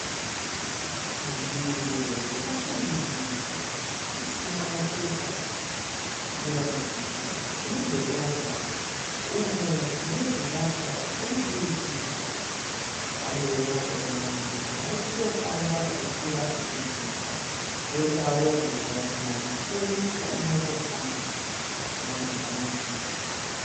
Nzvimbo yakashambidzika isina mapepa inoratidzika semudhorobha umo mune zvivakwa zvomudurikidzwa. Panewo vanhu vari kungofamba vachikwira nokudzika poitawo mugwagwa mukuru wedzimotokari namabhazi.